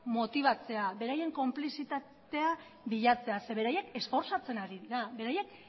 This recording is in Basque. motibatzea beraien konplizitatea bilatzea ze beraiek esfortzatzen ari dira beraiek